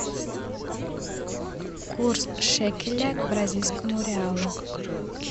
курс шекеля к бразильскому реалу